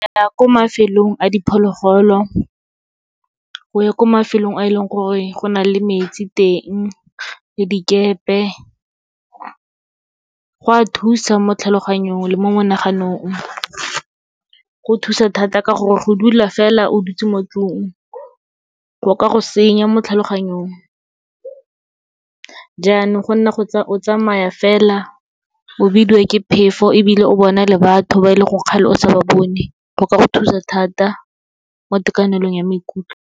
Ya ko mafelong a diphologolo, o ye ko mafelong a e leng gore go na le metsi teng le dikepe. Go a thusa mo tlhaloganyong le mo menaganong, go thusa thata ka gore go dula fela o dutse mo tlung, go ka go senya mo tlhaloganyong. Jaanong go nna o tsamaya fela, o bidiwa ke phefo ebile o bona le batho ba e leng gore kgale o sa ba bone, go ka go thusa thata mo tekanelong ya maikutlo.